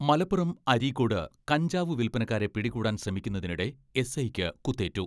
മലപ്പുറം അരീക്കോട് കഞ്ചാവ് വിൽപനക്കാരെ പിടികൂടാൻ ശ്രമിക്കുന്ന തിനിടെ എസ്.ഐക്ക് കുത്തേറ്റു.